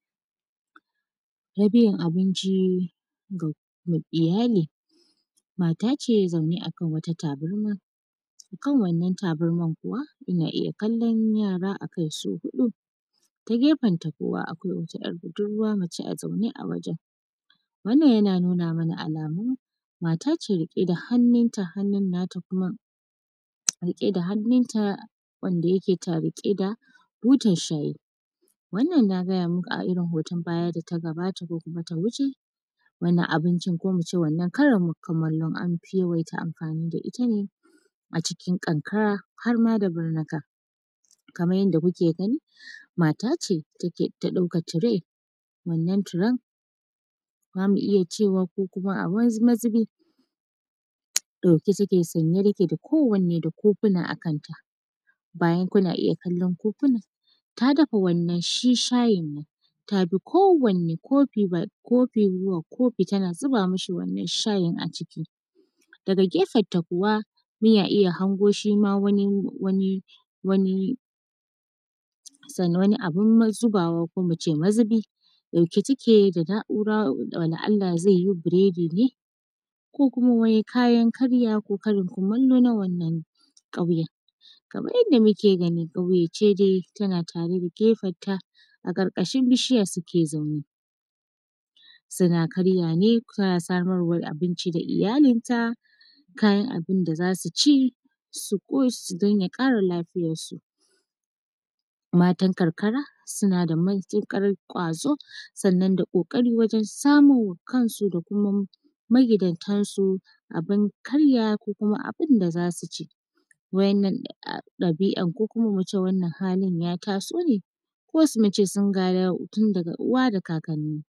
Yabiyan abinci ga iyali, mat ace zaune akan wata tabarma kan wannan tabarman kuwa ana iya kallan yara akai su huɗu ta gefenta kuwa akwai wata ‘yar budurwa mace a zaune a wajen, wannan yana nuna mana alamun matace rike da hannun ta hannun nata kuma rike da hannun ta wanda yake rike da butan shayi wannan na gaya muku a irin hoton baya da ta gabata ko kuma ta wuce wannan abincin ko kuma muce wannan Karin kumallon anfi yawaita amfani da ita ne a cikin karkara har ma da burnuka, kamar yadda kuke gani matace ta ɗauka ture wannan turan zamu iya cewa ko kuma a wani mazubi dauke take sanye take da kowane da kofuna a kanta bayan kuna iya kallon kofunan ta dafa wannan shi shayin nan ta bi kowane kofi zuwa kofi tana zuba mashi wannan shayin a ciki daga kefanta kuwa yana iya hango shi ma wani wani abun mazubawa ko muce mazubi ɗauke take da nahura wanda zai yi buradin ne ko kuma kayan karya ko karin kumallo na wannan ƙauyen, kamar yadda muke gani ƙauye ce dai tana tare da kefanta a karkashin bishiya suke zaune suna karyawa ne suna samar abinci da iyalinta kayan abun da zasu ci su don ya kara lafiyar su, matan karkara suna da matukar kwazo sannan da kokari wajen samun ma kansu da kuma magidantar su abun karya ko kuma abun da zasu ci, waɗannan ɗabi’an ko kuma muce wannan halin ya tasone ko kuma muce sun gada ne daga uwa da kakanni.